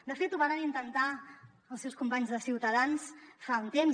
de fet ho varen intentar els seus companys de ciutadans fa un temps